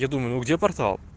я думаю ну где портал